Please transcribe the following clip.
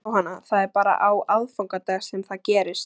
Jóhanna: Það er bara á aðfangadag sem það gerist?